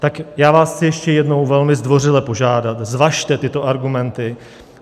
Tak já vás chci ještě jednou velmi zdvořile požádat, zvažte tyto argumenty.